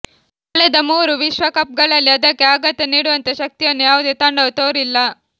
ಕಳೆದ ಮೂರು ವಿಶ್ವಕಪ್ಗಳಲ್ಲಿ ಅದಕ್ಕೆ ಆಘಾತ ನೀಡುವಂಥ ಶಕ್ತಿಯನ್ನು ಯಾವುದೇ ತಂಡವೂ ತೋರಿಲ್ಲ